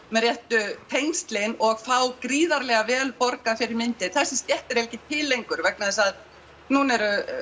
með réttu tengslin og fá gríðarlega vel borgað fyrir myndir þessi stétt er eiginlega ekki til lengur vegna þess að núna er